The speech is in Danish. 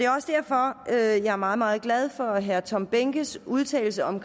også derfor at jeg er meget meget glad for herre tom behnkes udtalelse om